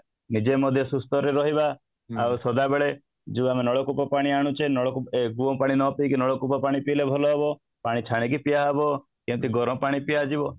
ନିଜେ ମଧ୍ୟ ସୁସ୍ଥ ରେ ରହିବା ଆଉ ସଦାବେଳେ ଯୋଉ ଆମେ ନଳକୂପ ପାଣି ଆଣୁଛେ ସେ କୂପ ପାଣି ନ ପିଏକି ନଳକୂପ ପାଣି ପିଇଲେ ଭଲ ହବ ପାଣି ଛାଣିକି ପିଆହବ ଯେମିତି ଗରାମପାଣି ପିଆଯିବ